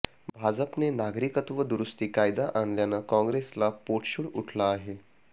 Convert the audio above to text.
भाजपने नागरिकत्व दुरुस्ती कायदा आणल्यानं काँग्रेसला पोटशूळ उठला आहे